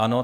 Ano.